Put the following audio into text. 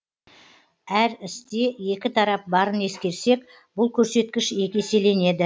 әр істе екі тарап барын ескерсек бұл көрсеткіш екі еселенеді